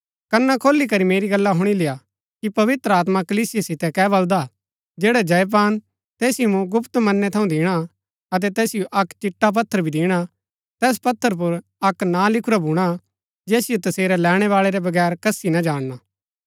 कना खोली करी मेरी गल्ला हुणी लेय्आ कि पवित्र आत्मा कलीसिया सीतै कै बलदा जैडा जय पान तैसिओ मूँ गुप्त मन्नै थऊँ दिणा अतै तैसिओ अक्क चिट्टा पत्थर भी दिणा तैस पत्थर पुर अक्क नां लिखुरा भूणा जैसिओ तसेरै लैणैबाळै रै बगैर कसी ना जाणना